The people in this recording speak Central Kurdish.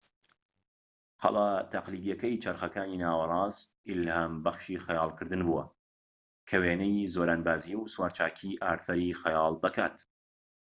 قەڵا تەقلیدیەکەی چەرخەکانی ناوەڕاست ئیلهابەخشی خەیاڵکردن بووە کە وێنەی زۆرانبازی و سوراچاکی ئارسەری خەیاڵدەکات